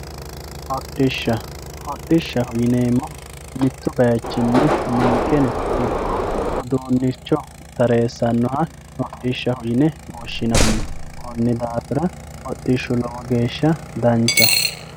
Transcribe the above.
hodhishsha. hodhishshaho yineemmohu mittu bayiichinni ninkeno ikko uduunnicho tareessannoha hodhishshaho yine woshshinanni konni daafira hodhishshu lowo geeshsha danchaho.